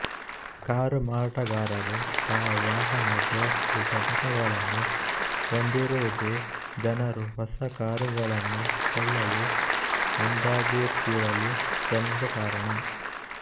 car ಮಾರಾಟಗಾರರು ತಾವು ವಾಹನ ದುರಸ್ತಿ ಘಟಕಗಳನ್ನು ಹೊಂದಿರುವುದೇ ಜನರು ಹೊಸ ಕಾರುಗಳನ್ನು ಕೊಳ್ಳಲು ಮುಂದಾಗುತ್ತಿರಲು ಪ್ರಮುಖ ಕಾರಣ